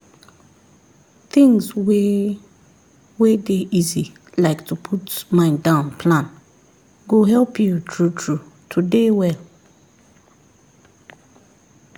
things wey wey dey easy like to put mind down plan go help you true true to dey well